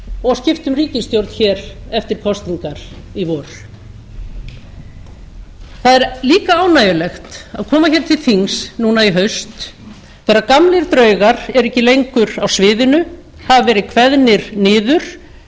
og skipta um ríkisstjórn eftir kosningar í vor það er líka ánægjulegt að koma hér til þings núna í haust þegar gamlir draugar eru ekki lengur á sviðinu hafa verið kveðnir niður